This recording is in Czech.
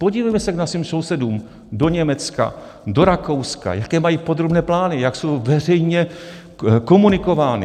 Podívejme se ke svým sousedům do Německa, do Rakouska, jaké mají podrobné plány, jak jsou veřejně komunikovány.